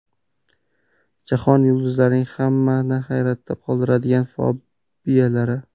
Jahon yulduzlarining hammani hayratga soladigan fobiyalari.